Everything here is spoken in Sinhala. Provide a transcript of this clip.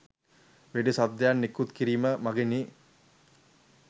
වෙඩි ශබ්දයක් නිකුත් කිරීම මගිනි.